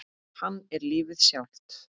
Hann er lífið sjálft.